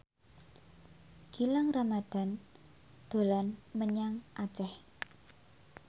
Gilang Ramadan dolan menyang Aceh